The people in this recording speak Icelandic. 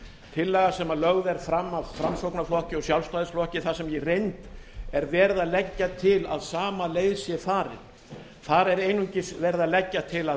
tillaga sem lögð er fram af framsóknarflokki og sjálfstæðisflokki þar sem í reynd er verið að leggja til að sama leið sé farin þar er einungis verið að leggja til að